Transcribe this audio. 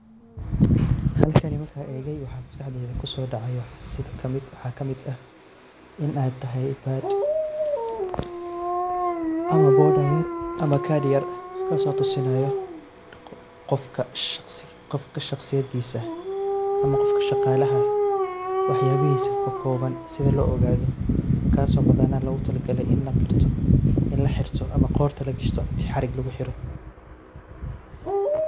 Sawiirkani markaan eegay waxaa maskaxdeyda kusoo dacay, waxaa kamid ah in aay tahay card yar kaas oo tusinaayo, qofka shaqsiyadiisa, ama qofka shaqaalaha wax yaabahiisa oo kooban si loo ogaado, kaas oo oogu badnaan loogu tala galay in qorta lagashto inti xarig lagu xiro.